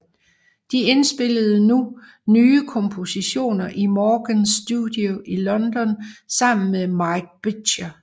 De indspillede nu nye kompositioner i Morgan Studios i London sammen med Mike Butcher